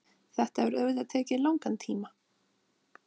þetta hefur auðvitað tekið langan tíma